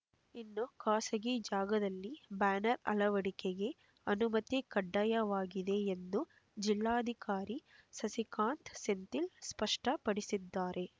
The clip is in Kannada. ಇನ್ನು ಖಾಸಗಿ ಜಾಗದಲ್ಲಿ ಬ್ಯಾನರ್ ಅಳವಡಿಕೆಗೆ ಅನುಮತಿ ಕಡ್ಡಾಯವಾಗಿದೆ ಎಂದು ಜಿಲ್ಲಾಧಿಕಾರಿ ಸಸಿಕಾಂತ್ ಸೆಂಥಿಲ್ ಸ್ಪಷ್ಟಪಡಿಸಿದ್ದಾರೆ